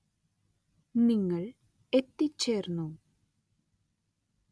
നിങ്ങൾ എത്തിച്ചേർന്നു.